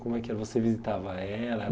Como é que é você visitava ela?